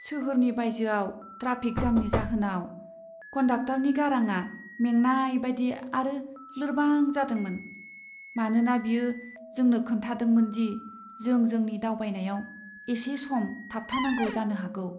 सोहोरनि बायजोआव ट्राफिक जामनि जाहोनाव कन्डाक्टरनि गारांआ मेंनायबादि आरो लोरबां जादोंमोन, मानोना बियो जोंनो खोन्थादोंमोन दि जों जोंनि दावबायनायाव एसे सम थाबथानांगौ जानो हागौ।